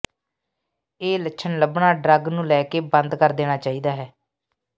ਇਹ ਲੱਛਣ ਲੱਭਣਾ ਡਰੱਗ ਨੂੰ ਲੈ ਕੇ ਬੰਦ ਕਰ ਦੇਣਾ ਚਾਹੀਦਾ ਹੈ